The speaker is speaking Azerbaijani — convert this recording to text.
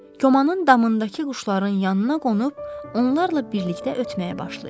Komanın damındakı quşların yanına qonub, onlarla birlikdə ötməyə başlayır.